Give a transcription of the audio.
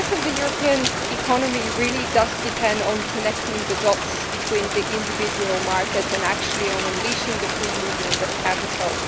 The success of the European economy really does depend on connecting the dots between the individual markets and on unleashing the free movement of capital.